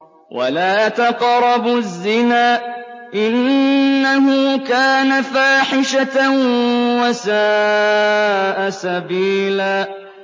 وَلَا تَقْرَبُوا الزِّنَا ۖ إِنَّهُ كَانَ فَاحِشَةً وَسَاءَ سَبِيلًا